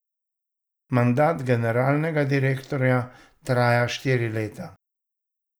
Mandat generalnega direktorja traja štiri leta.